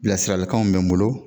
Bilasiralikanw bɛ n bolo